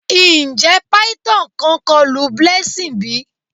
Njẹ phyton kan kọlu Blessing bi?